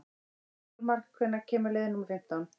Hjálmar, hvenær kemur leið númer fimmtán?